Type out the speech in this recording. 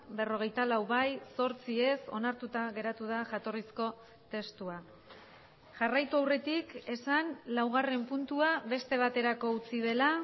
berrogeita lau bai zortzi ez onartuta geratu da jatorrizko testua jarraitu aurretik esan laugarren puntua beste baterako utzi dela